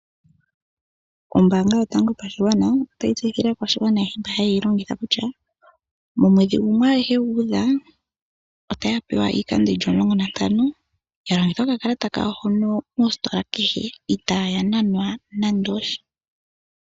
Ombaanga yotango yopashigwana otayi tseyithile aakwashigwana ayehe mbono ha yeyi longitha kutya momwedhi nguno oguhe gu udha otaya pewa iikando yili omulongo nantano ya longithe okakalata kawo mositola kehe itaya nanwa nando osha.